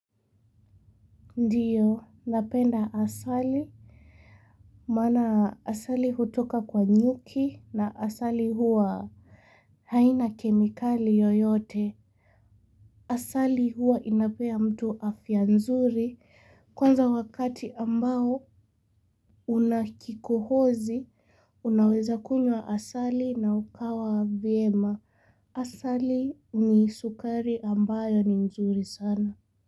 Ndiyo, napenda asali. Maana asali hutoka kwa nyuki na asali huwa haina kemikali yoyote. Asali huwa inapea mtu afya nzuri. Kwanza wakati ambao una kikohozi unaweza kunywa asali na ukawa vyema. Asali ni sukari ambayo ni nzuri sana.